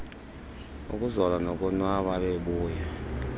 ukuzola nokonwaba ebebuya